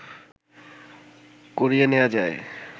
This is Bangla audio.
করিয়ে নেয়া যায়